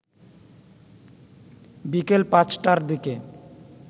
বিকেল ৫টার দিকে